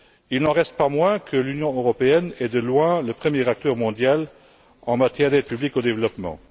Il n'en reste pas moins que l'Union européenne est de loin le premier acteur mondial en matière d'aide publique au développement.